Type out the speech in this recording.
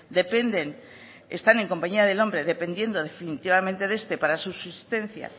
dependen están en compañía del hombre dependiendo definitivamente de este para su subsistencia